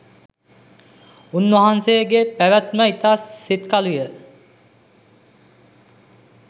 උන්වහන්සේගෙ පැවැත්ම ඉතා සිත්කලුයි.